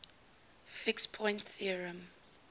fixed point theorem